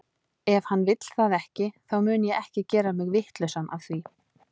Ef hann vill það ekki, þá mun ég ekki gera mig vitlausan af því.